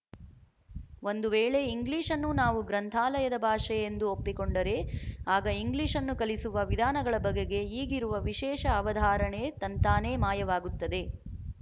ಒಂದು ವೇಳೆ ಇಂಗ್ಲಿಶ್‌ನ್ನು ನಾವು ಗ್ರಂಥಾಲಯದ ಭಾಷೆ ಎಂದು ಒಪ್ಪಿಕೊಂಡರೆ ಆಗ ಇಂಗ್ಲಿಶ್‌ನ್ನು ಕಲಿಸುವ ವಿಧಾನಗಳ ಬಗೆಗೆ ಈಗಿರುವ ವಿಶೇಷ ಅವಧಾರಣೆ ತಂತಾನೇ ಮಾಯವಾಗುತ್ತದೆ